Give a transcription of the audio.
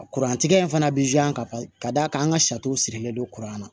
Kuran tigɛ in fana bɛ ka d'a kan an ka sariw sirilen don kuranna